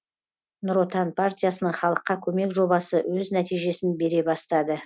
нұр отан партиясының халыққа көмек жобасы өз нәтижесін бере бастады